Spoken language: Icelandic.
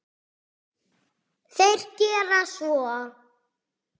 Þeir gera svo.